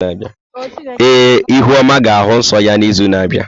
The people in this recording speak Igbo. Ee, ihuoma ga-ahụ nsọ ya n’izu na-abịa.